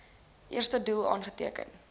eerste doel aangeteken